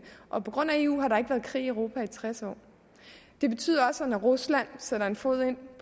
og på grund af eu har der ikke været krig i europa i tres år det betyder også at når rusland sætter en fod ind i